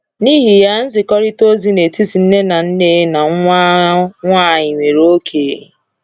N’ihi ya, nzikọrịta ozi n’etiti nne na nne na nwa nwanyị nwere oke.